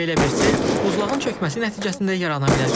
Belə bir sel buzlağın çökməsi nəticəsində yarana bilər.